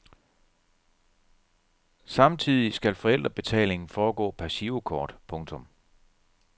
Samtidigt skal forældrebetalingen foregå per girokort. punktum